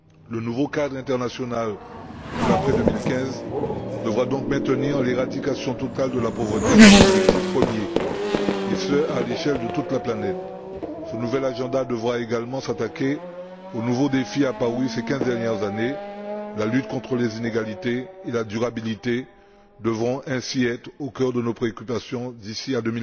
Le nouveau cadre international pour la période au delà de 2015 devra donc maintenir l'éradication totale de la pauvreté comme objectif premier et ce à l'échelle de toute la planète. Ce nouvel agenda devra également s'attaquer aux nouveaux défis apparus ces quinze dernières années, la lutte contre les inégalités et la durabilité devant ainsi être au cœur de nos préoccupations d'ici à